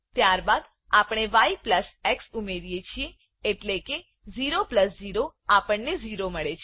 ત્યારબાદ આપણે ય પ્લસ એક્સ ઉમેરીએ છીએ એટલેકે 0 પ્લસ 0 આપણે 0 મળે છે